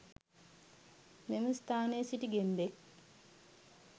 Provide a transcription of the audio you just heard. එම ස්ථානයේ සිටි ගෙම්බෙක්